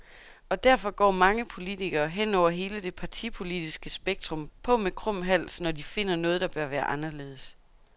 Og derfor går mange politikere, hen over hele det partipolitiske spektrum, på med krum hals, når de finder noget, der bør være anderledes.